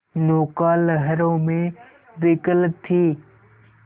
नौका लहरों में विकल थी